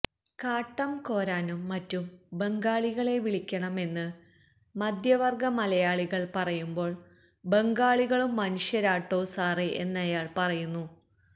കാട്ടം കോരാനും മറ്റും ബംഗാളികളെ വിളിക്കണം എന്ന് മധ്യവർഗ മലയാളികൾ പറയുമ്പോൾ ബംഗാളികളും മനുഷ്യരാ ട്ടോ സാറേ എന്നയാൾ പറയുന്നു